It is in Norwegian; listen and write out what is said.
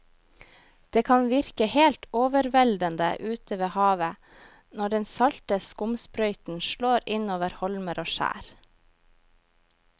Det kan virke helt overveldende ute ved havet når den salte skumsprøyten slår innover holmer og skjær.